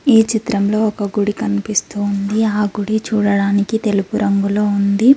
ఈ చిత్రంలో ఒక గుడి కనిపిస్తోంది ఆ గుడి చూడడానికి తెలుగు రంగులో ఉంది.